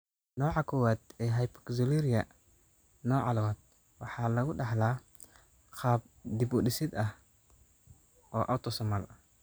Nooca koowaad ee hyperoxaluria nooca labad waxa lagu dhaxlaa qaab dib-u-dhis ah oo autosomal ah.